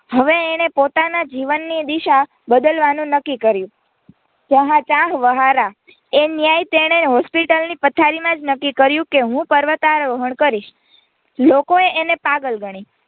હવે એણે પોતાના જીવનની દિશા બદલવાનું નક્કી કર્યું જહાં ચાહ વહાં રાહા એ ન્યાય તેણે હોસ્પિટલ ની પથારી માં જ નક્કી કર્યું કે હું પર્વતારોહણ કરીશ લોકોએ એને પાગલ ગણી